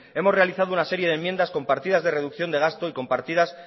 hemos realizado una serie de enmiendas con partidas de reducción de gasto y con partidas